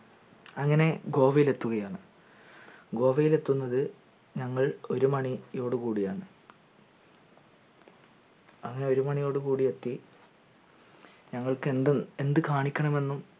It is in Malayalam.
അങ്ങനെ ഗോവയിലെത്തുകയാണ് ഗോവയിലെത്തുന്നത് ഞങ്ങൾ ഒരുമണിയോടുകൂടിയാണ് അങ്ങനെ ഒരു മാണിയോട് കൂടി എത്ത ഞങ്ങൾക് എന്തും എന്ത് കാണിക്കണമെന്നും